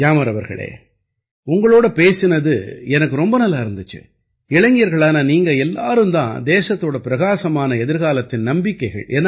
கியாமர் அவர்களே உங்களோட பேசினது எனக்கு ரொம்ப நல்லா இருந்திச்சு இளைஞர்களான நீங்க எல்லாரும் தான் தேசத்தோட பிரகாசமான எதிர்காலத்தின் நம்பிக்கைகள்